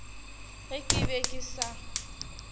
ge ke be ke sa